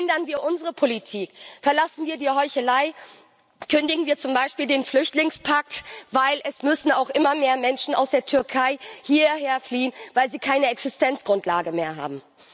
Ändern wir unsere Politik, verlassen wir die Heuchelei, kündigen wir zum Beispiel den Flüchtlingspakt, denn es müssen auch immer mehr Menschen aus der Türkei hierher fliehen, weil sie keine Existenzgrundlage mehr haben!